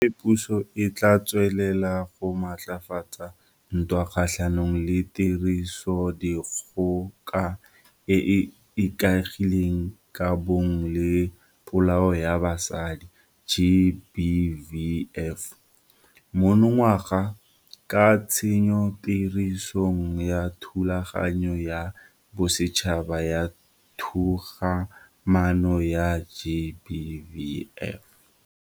Gape puso e tla tswelela go maatlafatsa ntwa kgatlhanong le Tirisodikgoka e e Ikaegileng ka Bong le Polao ya Basadi, GBVF, monongwaga, ka tsenyotirisong ya Thulaganyo ya Bosetšhaba ya Togamaano ya GBVF.